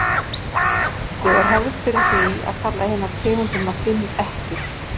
á enskri tungu er hefð fyrir því að kalla hinar tegundirnar fimm ekkjur